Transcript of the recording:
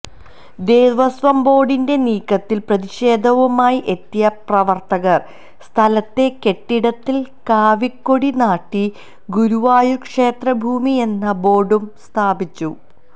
ദേവസ്വം ബോർഡിന്റെ നീക്കത്തിൽ പ്രതിഷേധവുമായി എത്തിയ പ്രവർത്തകർ സ്ഥലത്തെ കെട്ടിടത്തിൽ കാവിക്കൊടി നാട്ടി ഗുരുവായൂർ ക്ഷേത്രഭൂമിയെന്ന ബോർഡും സ്ഥാപിച്ചു